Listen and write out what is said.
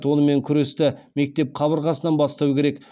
онымен күресті мектеп қабырғасынан бастау керек